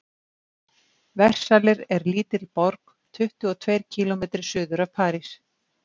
versalir er lítil borg tuttugu og tveir kílómetri suður af parís